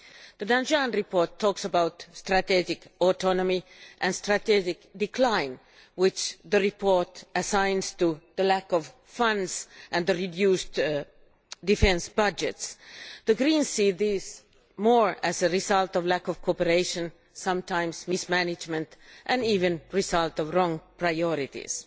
The Danjean report talks about strategic autonomy and strategic decline, which the report assigns to the lack of funds and the reduced defence budgets. The Greens see these more as a result of lack of cooperation, sometimes mismanagement and even a result of wrong priorities.